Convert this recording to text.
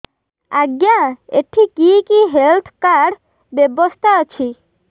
ଆଜ୍ଞା ଏଠି କି କି ହେଲ୍ଥ କାର୍ଡ ବ୍ୟବସ୍ଥା ଅଛି